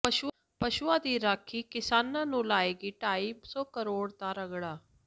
ਪਸ਼ੂਆਂ ਦੀ ਰਾਖੀ ਕਿਸਾਨਾਂ ਨੂੰ ਲਾਏਗੀ ਢਾਈ ਸੌ ਕਰੋੜ ਦਾ ਰਗੜਾ